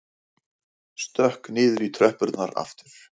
Stökk niður í tröppurnar aftur.